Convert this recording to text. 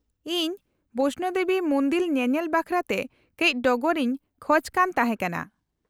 -ᱤᱧ ᱵᱚᱭᱥᱱᱳ ᱫᱮᱵᱤ ᱢᱩᱱᱫᱤᱞ ᱧᱮᱧᱮᱞ ᱵᱟᱠᱷᱨᱟ ᱛᱮ ᱠᱟᱹᱪ ᱰᱚᱜᱚᱨ ᱤᱧ ᱠᱷᱚᱡᱽ ᱠᱟᱱ ᱛᱮᱦᱮᱸ ᱠᱟᱱᱟ ᱾